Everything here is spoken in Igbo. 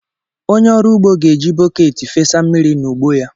Onye ọrụ ugbo ga-eji bọket fesaa mmiri n’ugbo ya.